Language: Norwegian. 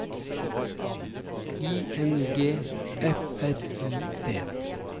I N G F R I D